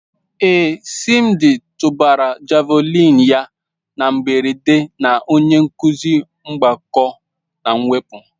Ee, Simdi tụbara Javulinị ya na mberede na onye nkuzi mgbakọ na mwepụ.